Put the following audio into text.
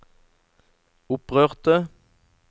opprørte